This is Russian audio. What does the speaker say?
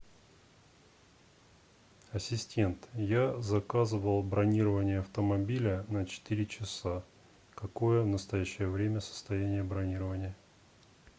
ассистент я заказывал бронирование автомобиля на четыре часа какое в настоящее время состояние бронирования